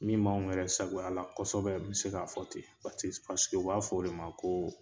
Min b'anw yɛrɛ sagoya la kɔsɛbɛ, n be se k'a fɔ ten patis u b'a fɔ o de ma koo